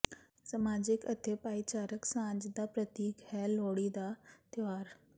ਸਮਾਜਿਕ ਅਤੇ ਭਾਈਚਾਰਕ ਸਾਂਝ ਦਾ ਪ੍ਰਤੀਕ ਹੈ ਲੋਹੜੀ ਦਾ ਤਿਉਹਾਰ